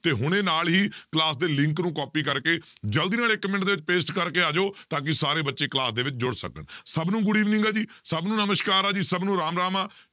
ਤੇ ਹੁਣੇ ਨਾਲ ਹੀ class ਦੇ link ਨੂੰ copy ਕਰਕੇ ਜ਼ਲਦੀ ਨਾਲ ਇੱਕ ਮਿੰਟ paste ਕਰਕੇ ਆ ਜਾਓ ਤਾਂ ਕਿ ਸਾਰੇ ਬੱਚੇ class ਦੇ ਵਿੱਚ ਜੁੜ ਸਕਣ ਸਭ ਨੂੰ good evening ਆ ਜੀ ਸਭ ਨੂੰ ਨਮਸ਼ਕਾਰ ਆ ਜੀ ਸਭ ਨੂੰ ਰਾਮ ਰਾਮ ਆਂ